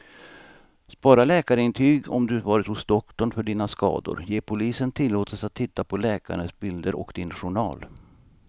Spara läkarintyg om du varit hos doktorn för dina skador, ge polisen tillåtelse att titta på läkarens bilder och din journal.